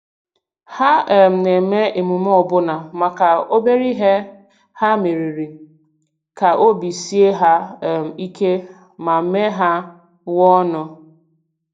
Ha um na-eme emume ọbụna maka obere ihe ha meriri, ka obi sie ha um ike ma mee ha nwee ọṅụ.